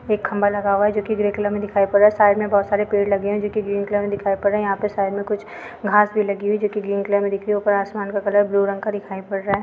एक खम्बा लगा हुआ है जोकि ग्रे कलर में दिखाई पड़ रहा है साइड में बहोत सारे पेड़ लगे है जोकि ग्रीन कलर में दिखाई पड़ रहे है यहाँ पे साइड में कुछ घास भी लगी हुई है जोकि ग्रीन कलर में दिख रही है ऊपर आसमान का कलर ब्लू रंग का दिखाई पड़ रहा है।